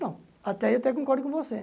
Não, até aí eu até concordo com você.